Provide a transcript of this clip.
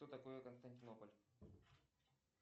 что такое константинополь